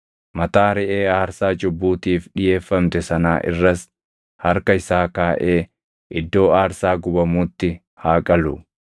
Mataa reʼee aarsaa cubbuutiif dhiʼeeffamte sanaa irras harka isaa kaaʼee iddoo aarsaa gubamuutti haa qalu.